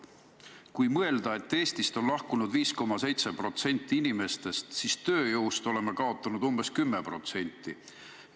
"Kui mõelda, et Eestist on lahkunud 5,7 protsenti inimestest, siis tööjõust oleme kaotanud umbes kümme protsenti.